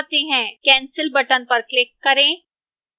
cancel button पर click करें